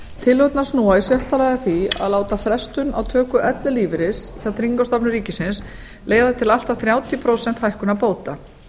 tillögurnar snúa í sjötta lagi að því að láta frestun á töku ellilífeyris hjá tryggingastofnun ríkisins leiða til allt að þrjátíu prósenta hækkunar bóta